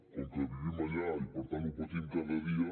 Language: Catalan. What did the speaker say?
com que vivim allà i per tant ho patim cada dia